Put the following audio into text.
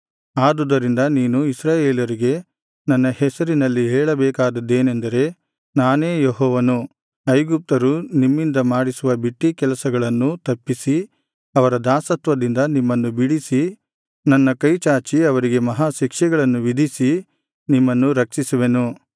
ಆದುದರಿಂದ ನೀನು ಇಸ್ರಾಯೇಲರಿಗೆ ನನ್ನ ಹೆಸರಿನಲ್ಲಿ ಹೇಳಬೇಕಾದದ್ದೇನೆಂದರೆ ನಾನೇ ಯೆಹೋವನು ಐಗುಪ್ತರು ನಿಮ್ಮಿಂದ ಮಾಡಿಸುವ ಬಿಟ್ಟೀ ಕೆಲಸಗಳನ್ನು ತಪ್ಪಿಸಿ ಅವರ ದಾಸತ್ವದಿಂದ ನಿಮ್ಮನ್ನು ಬಿಡಿಸಿ ನನ್ನ ಕೈಚಾಚಿ ಅವರಿಗೆ ಮಹಾ ಶಿಕ್ಷೆಗಳನ್ನು ವಿಧಿಸಿ ನಿಮ್ಮನ್ನು ರಕ್ಷಿಸುವೆನು